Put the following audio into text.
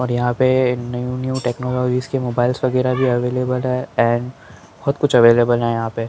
और यहाँ पे न्यू न्यू टेक्नोलॉजीस के मोबाइलस वगैरह भी अवेेलबल है एण्ड बहुत कुछ अवैलबल है यहाँ पे --